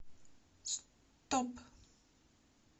стоп